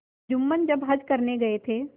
जुम्मन जब हज करने गये थे